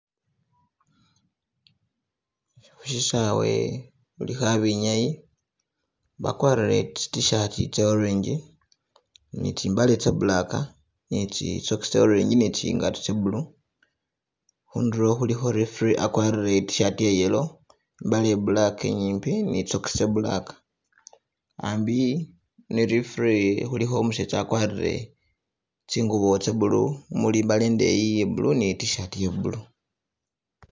Khushisawe khulikho abenyayi bakwarire tsi tshirt tse orange ni tsi mbale tse black ne tsi socks tse orange ne tsi ngato tse blue Khundulo khulikho referee akwarire I tshirt ye yellow, mbale ye black inyimbi ne tsi socks tse black ambi ne referee khulikho umusetsa akwarire tsingubo tse blue, mumuli imbale ndeyi ye blue ne tshirt ye blue.